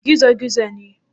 Gizo-gizo ne?